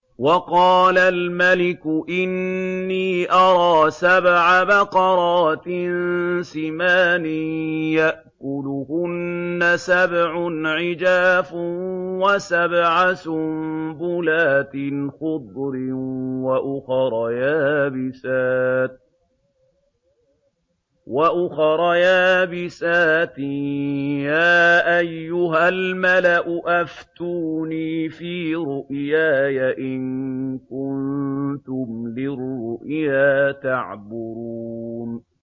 وَقَالَ الْمَلِكُ إِنِّي أَرَىٰ سَبْعَ بَقَرَاتٍ سِمَانٍ يَأْكُلُهُنَّ سَبْعٌ عِجَافٌ وَسَبْعَ سُنبُلَاتٍ خُضْرٍ وَأُخَرَ يَابِسَاتٍ ۖ يَا أَيُّهَا الْمَلَأُ أَفْتُونِي فِي رُؤْيَايَ إِن كُنتُمْ لِلرُّؤْيَا تَعْبُرُونَ